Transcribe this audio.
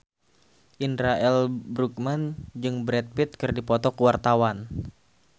Indra L. Bruggman jeung Brad Pitt keur dipoto ku wartawan